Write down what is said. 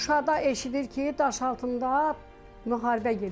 Şuşada eşidir ki, Daşaltında müharibə gedib.